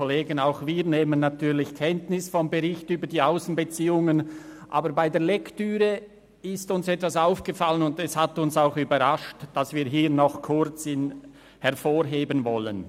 Auch wir nehmen natürlich vom Bericht über die Aussenbeziehungen Kenntnis, aber bei der Lektüre ist uns etwas aufgefallen, das uns überrascht hat und das wir noch hervorheben möchten.